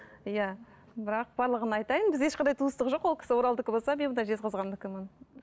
иә бірақ барлығына айтайын біз ешқандай туыстық жоқ ол кісі оралдікі болса мен мына жезқазғандікімін